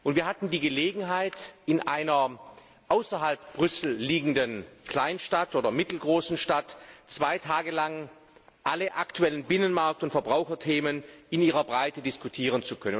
Wir hatten die Gelegenheit, in einer außerhalb von Brüssel liegenden Kleinstadt oder mittelgroßen Stadt zwei Tage lang alle aktuellen Binnenmarkt und Verbraucherthemen in ihrer ganzen Breite zu diskutieren.